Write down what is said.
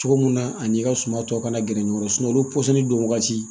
Cogo mun na ani i ka suma tɔ kana gɛrɛ ɲɔgɔn kɔrɔ olu pɔsɔnni don wagati